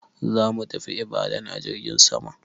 Zamu tafi Ibadan a jirgin sama.